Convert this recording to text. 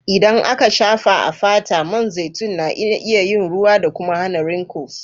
Idan aka shafa a fata, man zaitun na iya yin ruwa da kuma hana wrinkles.